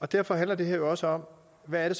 derfor handler det her også om hvad det